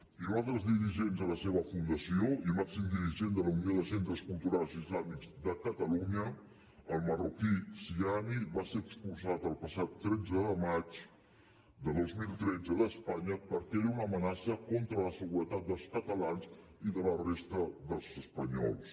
i un altre dels dirigents de la seva fundació i màxim dirigent de la unió de centres culturals islàmics de catalunya el marroquí ziani va ser expulsat el passat tretze de maig de dos mil tretze d’espanya perquè era una amenaça contra la seguretat dels catalans i de la resta dels espanyols